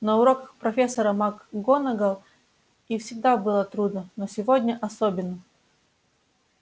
на уроках профессора макгонагалл и всегда было трудно но сегодня особенно